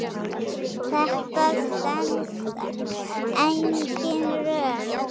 Þetta stenst engin rök.